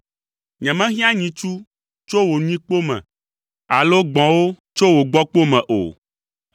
Nyemehiã nyitsu tso wò nyikpo me, alo gbɔ̃wo tso wò gbɔ̃kpo me o,